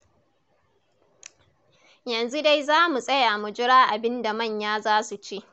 Yanzu dai za mu tsaya mu jira abin da manya za su ce.